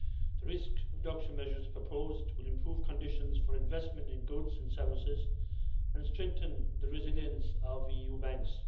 The risk reduction measures proposed will improve conditions for investment in goods and services and strengthen the resilience of EU banks.